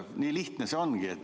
Nii lihtne see ongi.